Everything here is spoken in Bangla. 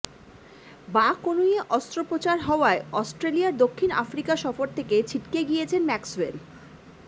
বাঁ কনুইয়ে অস্ত্রোপচার হওয়ায় অস্ট্রেলিয়ার দক্ষিণ আফ্রিকা সফর থেকে ছিটকে গিয়েছেন ম্যাক্সওয়েল